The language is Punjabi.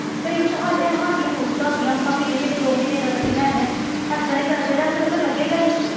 ਕਈ ਵਾਰ ਤਾਂ ਸਾਡੇ ਸਾਡੀ ਮੂਰਖਤਾ ਹੁੰਦੀ ਆ ਆਪਾਂ ਮਹੀਨੇ ਮਹੀਨੇ ਦੋ ਦੋ ਮਹੀਨੇ ਦਾ ਇਕੱਠਾ ਲੈ ਆਉਂਦੇ ਹਾਂ ਇਸ ਤਰ੍ਹਾਂ ਨਹੀਂ ਕਰਨਾ ਚਾਹੀਦਾ ਕੀੜਾ ਫਿਰ ਲੱਗੇਗਾ ਹੀ।